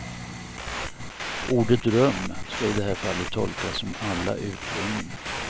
Ordet rum ska i det här fallet tolkas som alla utrymmen.